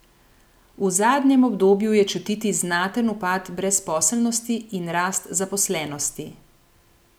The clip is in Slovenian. V zadnjem obdobju je čutiti znaten upad brezposelnosti in rast zaposlenosti.